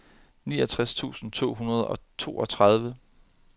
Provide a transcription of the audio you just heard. niogtres tusind to hundrede og toogtredive